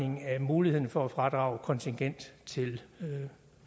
muligheden for at fradrage kontingent til